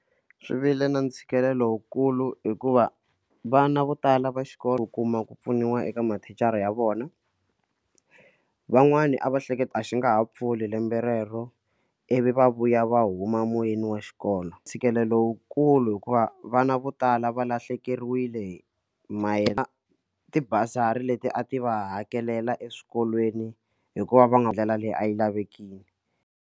Swi vile na ntshikelelo wukulu hikuva vana vo tala va xikolo u kuma ku pfuniwa eka mathicara ya vona van'wani a va hleketa a xi nga ha pfuli lembe rero ivi va vuya va huma moyeni wa xikolo ntshikelelo lowukulu hikuva vana vo tala va lahlekeriwile mayelana ti-bursary leti a ti va hakelela eswikolweni hikuva va nga ndlela leyi a yi lavekiki.